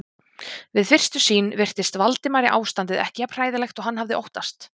Við fyrstu sýn virtist Valdimari ástandið ekki jafn hræðilegt og hann hafði óttast.